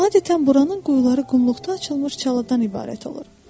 Adətən buranın quyuları qumluqda açılmış çalıdan ibarət olur.